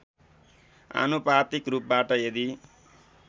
आनुपातिक रूपबाट यदि